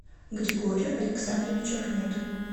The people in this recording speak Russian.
григорию александровичу ахметову